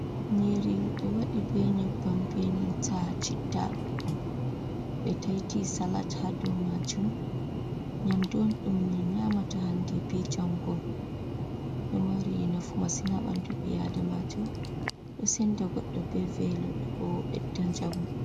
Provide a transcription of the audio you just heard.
Nyiri, ɓe waɗi be nyibban be nanta chitta, ɓe taiti salat ha dow majum, nyamdu on ɗom min nyamata hande be jango, ɗo mari nafu masin haɓi adamaju, ɗosinda gudu be vilo ɗobidajamu.